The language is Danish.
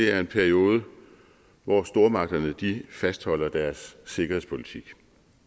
er en periode hvor stormagterne fastholder deres sikkerhedspolitik